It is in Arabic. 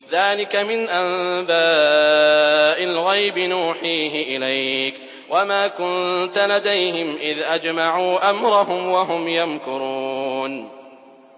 ذَٰلِكَ مِنْ أَنبَاءِ الْغَيْبِ نُوحِيهِ إِلَيْكَ ۖ وَمَا كُنتَ لَدَيْهِمْ إِذْ أَجْمَعُوا أَمْرَهُمْ وَهُمْ يَمْكُرُونَ